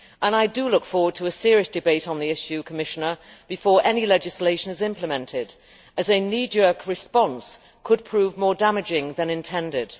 I look forward to serious debate on the issue, Commissioner, before any legislation is implemented, as a knee jerk response could prove more damaging than intended.